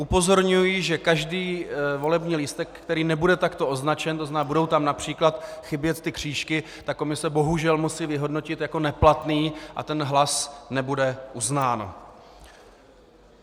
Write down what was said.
Upozorňuji, že každý volební lístek, který nebude takto označen, to znamená, budou tam například chybět ty křížky, tak komise bohužel musí vyhodnotit jako neplatné a ten hlas nebude uznán.